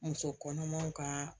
Muso kɔnɔmanw ka